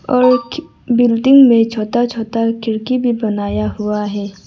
और बिल्डिंग में छोटा छोटा खिड़की भी बनाया हुआ है।